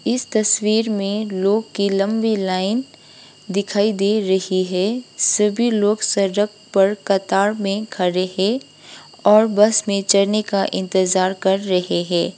इस तस्वीर में लोग की लंबी लाइन दिखाई दे रही है सभी लोग सरक पर कतार में खड़े हैं और बस में चढ़ने का इंतजार कर रहे हैं।